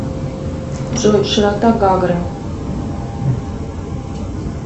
джой широта гагры